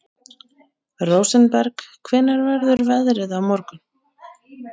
Rósenberg, hvernig verður veðrið á morgun?